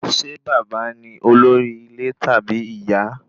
Ṣé bàbá ni olórí ilé tàbí ìyá?